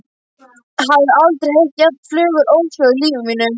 Hafði aldrei heyrt jafn fögur óhljóð í lífi mínu.